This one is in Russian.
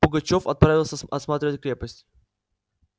пугачёв отправился осматривать крепость